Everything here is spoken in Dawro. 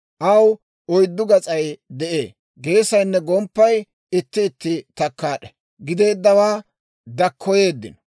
Aw oyddu gas'ay de'ee; geesaynne gomppay itti itti takkaad'e; gideeddawaa dakkoyeeddino.